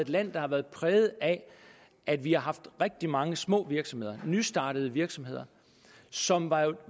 land der har været præget af at vi har haft rigtig mange små virksomheder nystartede virksomheder som